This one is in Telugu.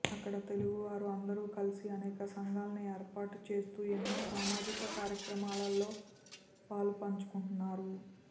అక్కడ తెలుగు వారు అందరూ కలిసి అనేక సంఘాలని ఏర్పాటు చేస్తూ ఎన్నో సామాజిక కార్యక్రమాలలో పాలు పంచుకుంటున్నారు